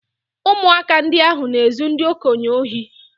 Ụmụaka ndị ahụ na-ezu ndị okenye ohi